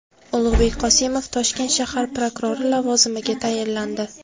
Ulug‘bek Qosimov Toshkent shahar prokurori lavozimiga tayinlandi.